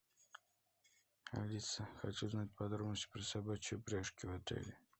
алиса хочу узнать подробности про собачьи упряжки в отеле